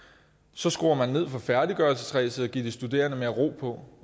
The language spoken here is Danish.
så skruer man ned for færdiggørelsesræset og giver de studerende mere ro